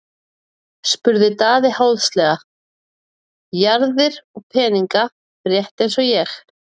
spurði Daði háðslega:-Jarðir og peninga, rétt eins og ég.